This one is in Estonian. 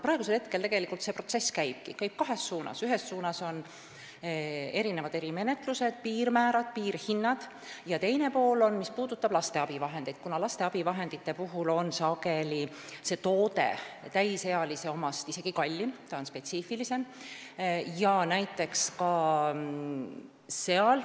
Praegusel hetkel tegelikult see protsess käibki, kahes suunas: esiteks on erimenetlused, piirmäärad, piirhinnad ja teiseks, laste abivahendid, mille puhul on toode sageli täisealiste omast isegi kallim, kuna see on spetsiifilisem.